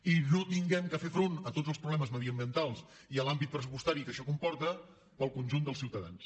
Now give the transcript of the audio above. i no hàgim de fer front a tots els problemes mediambientals i a l’àmbit pressupostari que això comporta per al conjunt dels ciutadans